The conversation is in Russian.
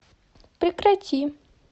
прекрати